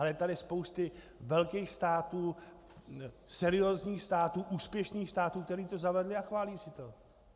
A je tady spousta velkých států, seriózních států, úspěšných států, které to zavedly a chválí si to.